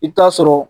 I bɛ taa sɔrɔ